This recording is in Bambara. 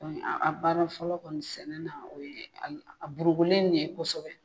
A baara fɔlɔ kɔni sɛnɛ na aw ye a burukulen nin ye kosɛbɛ.